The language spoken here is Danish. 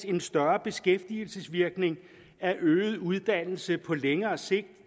en større beskæftigelsesvirkning af øget uddannelse på længere sigt